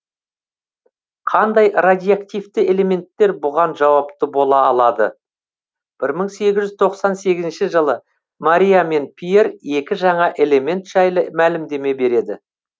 қандай радиоактивті элементтер бұған жауапты бола алады бір мың сегіз жүз тоқсан сегізінші жылы мария мен пьер екі жаңа элемент жайлы мәлімдеме береді